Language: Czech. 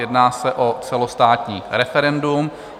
Jedná se o celostátní referendum.